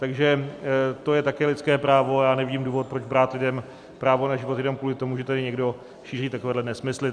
Takže to je také lidské právo a já nevidím důvod, proč brát lidem právo na život jenom kvůli tomu, že tam někdo šíří takovéhle nesmysly.